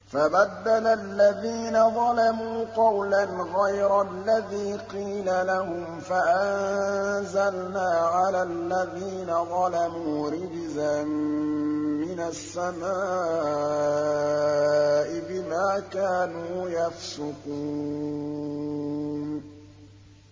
فَبَدَّلَ الَّذِينَ ظَلَمُوا قَوْلًا غَيْرَ الَّذِي قِيلَ لَهُمْ فَأَنزَلْنَا عَلَى الَّذِينَ ظَلَمُوا رِجْزًا مِّنَ السَّمَاءِ بِمَا كَانُوا يَفْسُقُونَ